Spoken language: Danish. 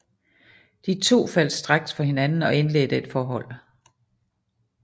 De to faldt straks for hinanden og indledte et forhold